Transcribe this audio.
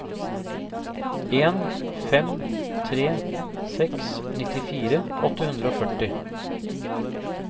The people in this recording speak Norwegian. en fem tre seks nittifire åtte hundre og førti